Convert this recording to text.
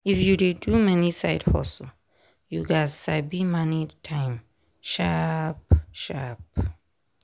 if you dey do many side hustle you gats sabi manage time sharp-sharp.